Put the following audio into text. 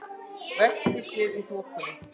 Veltir sér í þokunni.